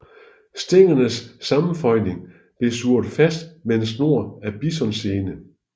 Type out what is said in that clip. Stængernes sammenføjning blev surret fast med en snor af bisonsene